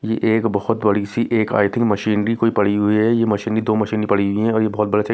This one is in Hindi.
ये एक बहुत बड़ी सी एक आय थिंक मशीनरी कोई पड़ी हुई है ये मशीनरी दो मशीनरी पड़ी हुई है और ये बहुत बड़ा--